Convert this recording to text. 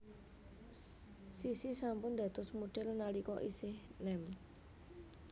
Sissy sampun dados modhél nalika isih nem